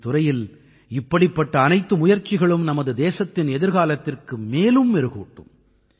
கல்வித்துறையில் இப்படிப்பட்ட அனைத்து முயற்சிகளும் நமது தேசத்தின் எதிர்காலத்திற்கு மேலும் மெருகூட்டும்